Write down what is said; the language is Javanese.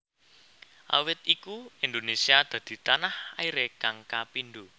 Awit iku Indonesia dadi tanah airé kang kapindo